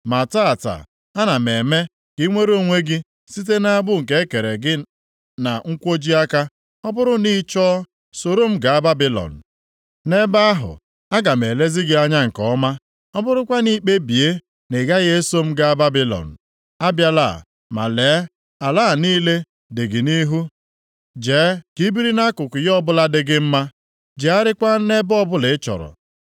Ma taata, ana m eme ka i nwere onwe gị site nʼagbụ nke e kere gị na nkwoji aka. Ọ bụrụ na ị chọọ, soro m gaa Babilọn. Nʼebe ahụ, aga m elezi gị anya nke ọma. Ọ bụrụkwa na i kpebie na ị gaghị eso m gaa Babilọn, abịala. Ma, lee, ala a niile dị gị nʼihu. Jee ka i biri nʼakụkụ ya ọbụla dị gị mma; jegharịakwa nʼebe ọbụla ị chọrọ.”